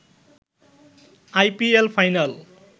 IPL final